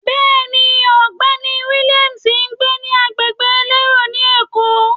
Bẹ́ẹ̀ni, ọ̀gbẹ́ni Williams ń gbé ní agbègbè elérò ni Èkó.